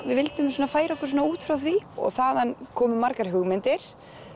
við vildum færa okkur út frá því þaðan komu margar hugmyndir